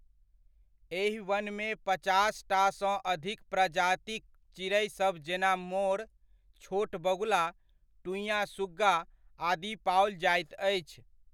एहि वनमे पचासटा सँ अधिक प्रजातिक चिड़ैसभ जेना मोर, छोट बगुला, टुंइया सुग्गा आदि पाओल जाइत अछि।